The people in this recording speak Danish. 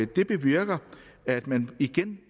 det bevirker at man igen